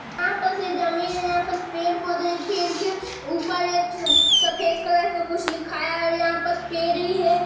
यहाँ पास जमीन है यहाँ पास पेड़ पौधे हैं पेड़ के ऊपर एक सफ़ेद कलर का कुछ लिखाया हुआ हैं और यह पास पेड़ भी हैं।